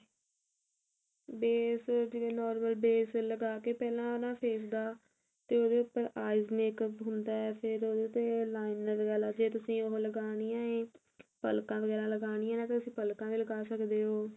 base ਜਿਵੇਂ normal base ਲਗਾਕੇ ਪਹਿਲਾਂ ਨਾ face ਦਾ ਉਹਦੇ ਉੱਤੇ eyes makeup ਹੁੰਦਾ ਫੇਰ ਉਹਦੇ ਉੱਤੇ liner ਵਾਲਾ ਜੇ ਤੁਸੀਂ ਉਹ ਲਗਾਣੀ ਏ ਇਹ ਪਲਕਾ ਵਗੈਰਾ ਲਗਾਣੀਆ ਤੇ ਤੁਸੀਂ ਪਲਕਾ ਵੀ ਲੱਗਾ ਸਕਦੇ ਓ